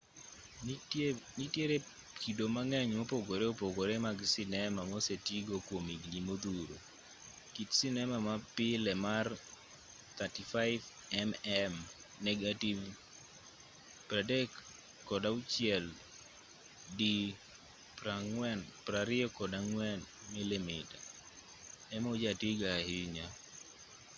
nitiere kido mang'eny mopogore opogore mag sinema mosetigo kwom higni modhuro. kit sinema ma pile mar 35mm negativ 36 di 24 mm ema ojatigo ahinya